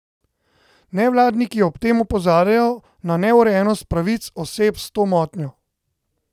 Nevladniki ob tem opozarjajo na neurejenost pravic oseb s to motnjo.